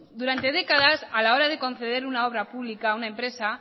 durante décadas a la hora de conceder una obra pública a una empresa